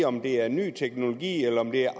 om det er ny teknologi om det er